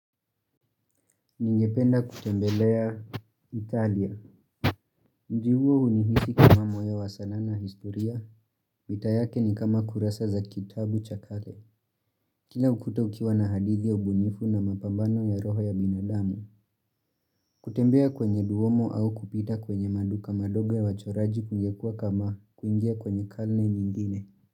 Ningependa kutembelea Italia. Mji huo hunihisi kama mwaya wasanaa na historia. Mita yake ni kama kurasa za kitabu cha kale. Kila ukuta ukiwa na hadithi ya ubunifu na mapambano ya roho ya binadamu. Kutembea kwenye duomo au kupita kwenye maduka madogo ya wachoraji kungekua kama kunjia kwenye karne nyingine.